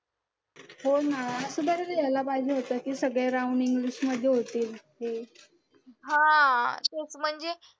हो ना असं तरी लिहायला पाहिजे होतं की सगळे round मध्ये होतील